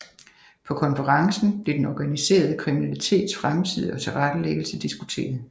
På konferencen blev den organiserede kriminalitets fremtid og tilrettelæggelse diskuteret